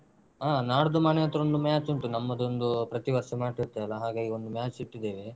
ಹ ನಾಡ್ದು ಮನೆ ಹತ್ರ ಒಂದು match ಉಂಟು ನಮ್ಮದೊಂದು ಪ್ರತೀ ವರ್ಷ ಮಾಡ್ತಿರ್ತೆವಲ್ಲ ಹಾಗಾಗಿ ಒಂದು match ಇಟ್ಟಿದ್ದೇವೆ.